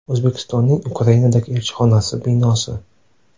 O‘zbekistonning Ukrainadagi elchixonasi binosi.